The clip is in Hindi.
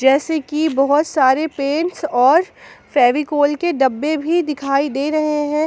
जैसे कि बहुत सारे पेंट्स और फेविकोल के डब्बे भी दिखाई दे रहे है।